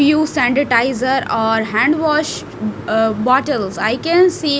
use sanitizer or hand wash ah bottles i can see --